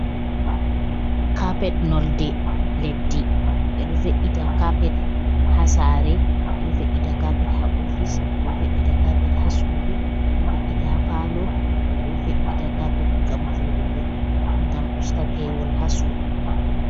Kapet nolde leddi ɓeɗo ve’ita kapet ha sare, ɓeɗo ve’ita kapet ha ofice, ɓeɗo veita kapet ha sudu, ɓeɗo ve’ita ha palo, ɓe ɗo ve’ita kapet gam voɗugo, gam usta pewol ha sudu,